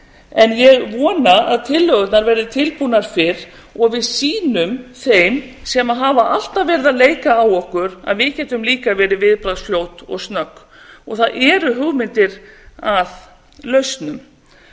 en ég vona að tillögurnar verði tilbúnar fyrr og við sýnum þeim sem hafa alltaf verið að leika á okkur að við getum líka verið viðbragðsfljót og snögg og það eru hugmyndir að lausnum